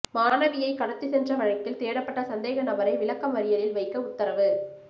மாணவியை கடத்திச்சென்ற வழக்கில் தேடப்பட்ட சந்தேக நபரை விளக்கமறியலில் வைக்க உத்தரவு